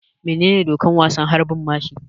Menene dokar wasan harbin mashi?